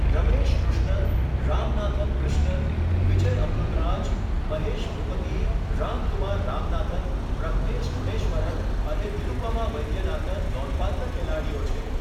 રમેશ કૃષ્ણન, રામનાથન ક્રિષ્નન, વિજય અમૃતરાજ, મહેશ ભૂપતિ, રામકુમાર રામનાથન, પ્રજ્ઞેશ ગુણેશ્વરન અને નિરુપમા વૈદ્યનાથન નોંધપાત્ર ખેલાડીઓ છે.